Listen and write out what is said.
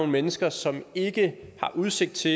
mennesker som ikke har udsigt til